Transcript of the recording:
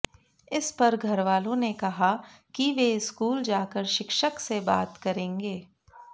इस पर घरवालों ने कहा कि वे स्कूल जाकर शिक्षक से बात करेंगे